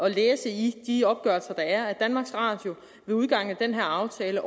at læse i de opgørelser der er at danmarks radio ved udgangen af den her aftale